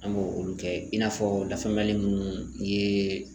An b'o olu kɛ i n'a fɔ lafaamuyali munnu